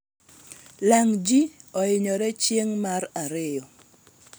lang ji ohinyre ching' mar ariyo